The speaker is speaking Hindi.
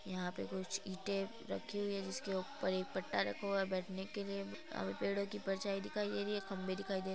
यहां पर कुछ इटे रखी हुई है जिसके ऊपर एक पट्टा रखा हुआ है बैठने के लिए अभी पेड़ों की परछाई दिखाई दे रही है खंबे दिखाई दे रहे हैं।